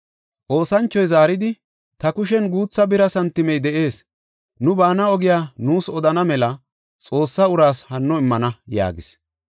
Oosanchoy zaaridi, “Ta kushen guutha bira santimey de7ees; nu baana ogiya nuus odana mela Xoossa uraas hanno immana” yaagis.